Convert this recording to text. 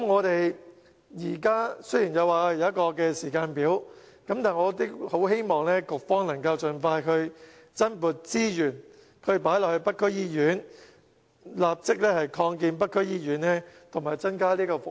雖然政府現在有一個時間表，但我希望局方能盡快增撥資源投入北區醫院，立即擴建北區醫院及增加服務。